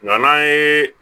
Nga n'an ye